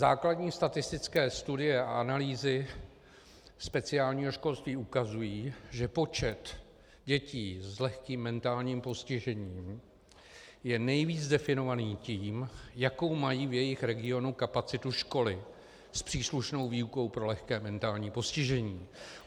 Základní statistické studie a analýzy speciálního školství ukazují, že počet dětí s lehkým mentálním postižením je nejvíce definovaný tím, jakou mají v jejich regionu kapacitu školy s příslušnou výukou pro lehké mentální postižení.